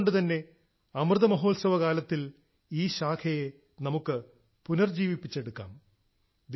അതുകൊണ്ട് തന്നെ അമൃതമഹോത്സവ കാലത്തിൽ ഈ ശാഖയെ നമുക്ക് പുനർജീവിപ്പിച്ചെടുക്കാം